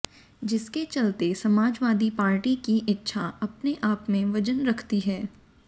जिसके चलते समाजवादी पार्टी की इच्छा अपने आप में वजन रखती है